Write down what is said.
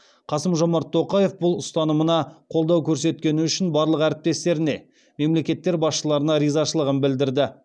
қасым жомарт тоқаев бұл ұстанымына қолдау көрсеткені үшін барлық әріптестеріне мемлекеттер басшыларына ризашылығын білдірді